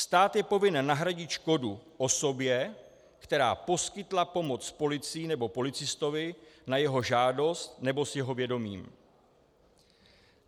Stát je povinen nahradit škodu osobě, která poskytla pomoc policii nebo policistovi na jeho žádost nebo s jeho vědomím.